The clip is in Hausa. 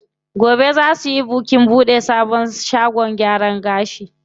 Gobe zaa suyi bikin buɗe sabon shagon gyaran gashi.